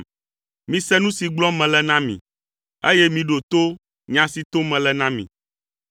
Mise nu si gblɔm mele na mi, eye miɖo to nya si tom mele na mi.